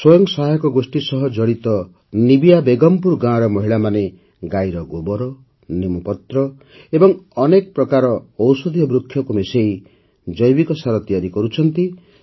ସ୍ୱୟଂ ସହାୟତା ଗୋଷ୍ଠୀ ସହ ଜଡ଼ିତ ନିବିୟା ବେଗମ୍ପୁର ଗାଁର ମହିଳାମାନେ ଗାଈର ଗୋବର ନିମ୍ବପତ୍ର ଓ ଅନେକ ପ୍ରକାର ଔଷଧୀୟ ବୃକ୍ଷକୁ ମିଶାଇ ଜୈବିକ ସାର ତିଆରି କରୁଛନ୍ତି